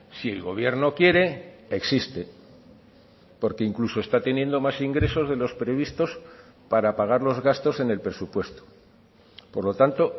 si el gobierno quiere existe porque incluso está teniendo más ingresos de los previstos para pagar los gastos en el presupuesto por lo tanto